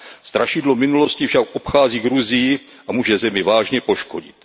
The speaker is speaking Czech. Strašidlo minulosti však obchází Gruzii a může zemi vážně poškodit.